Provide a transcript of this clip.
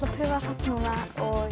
prufa það samt núna og